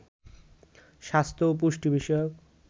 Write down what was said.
স্বাস্থ্য ও পুষ্টি বিষয়ক